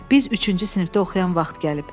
Biz üçüncü sinifdə oxuyan vaxt gəlib.